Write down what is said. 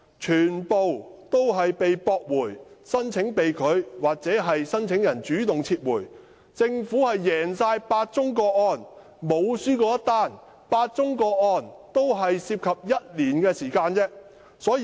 這些個案的申請或被拒或由申請人主動撤回，政府在8宗個案中全部勝訴，該等個案也只持續不超過1年的時間。